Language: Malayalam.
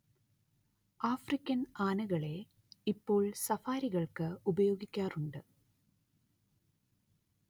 ആഫ്രിക്കൻ ആനകളെ ഇപ്പോൾ സഫാരികൾക്ക് ഉപയോഗിക്കാറുണ്ട്